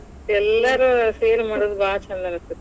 ಹೌದು ಎಲ್ಲಾರು ಸೇರಿ ಮಾಡೋದು ಭಾಳ ಛಂದ ಅನಸ್ತೇತಿ.